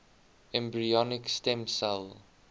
embryonic stem cell